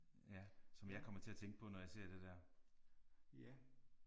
Ja som jeg kommer til at tænke på når jeg ser det der